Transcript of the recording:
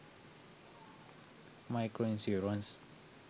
micro insurance